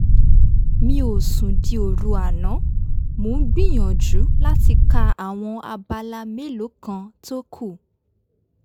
mi ò sùn di òru àná mo ń gbìyànjú láti ka àwọn abala mélòó kan tó kù